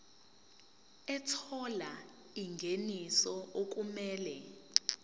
ethola ingeniso okumele